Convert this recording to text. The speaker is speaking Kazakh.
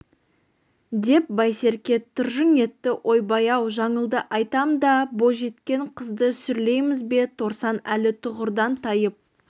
деп байсерке тыржың етті ойбай-ау жаңылды айтам да бойжеткен қызды сүрлейміз бе торсан әлі тұғырдан тайып